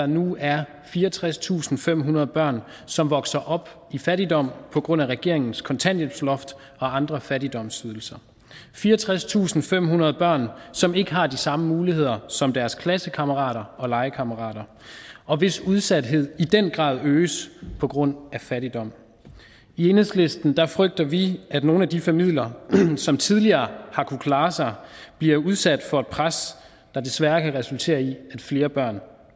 nu er fireogtredstusinde og femhundrede børn som vokser op i fattigdom på grund af regeringens kontanthjælpsloft og andre fattigdomsydelser fireogtredstusinde og femhundrede børn som ikke har de samme muligheder som deres klassekammerater og legekammerater og hvis udsathed i den grad øges på grund af fattigdom i enhedslisten frygter vi at nogle af de familier som tidligere har kunnet klare sig bliver udsat for et pres der desværre kan resultere i at flere børn